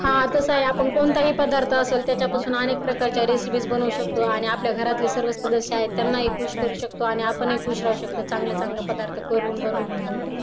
हा कस आहे आपण कोणताही पदार्थ असतात त्याच्या पासून अनेक प्रकारच्या रेसिपी बनवू शकतो आणि आपल्या घरातील सर्व सदस्य आहेत त्यांनाही खुश करू शकतो आणि आपणही खुश राहू शकतो. चांगले चांगले पदार्थ करून बनवून खाऊन